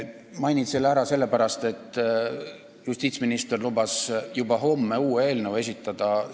Mainin selle ära sellepärast, et justiitsminister lubas juba homme uue eelnõu esitada.